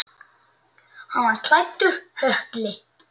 Hann var klæddur hökli.